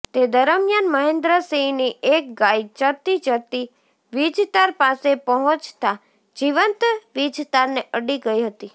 તે દરમ્યાન મહેન્દ્રસિંહની એક ગાય ચરતી ચરતી વિજતાર પાસે પહોંચતા જીવંત વિજતારને અડી ગઈ હતી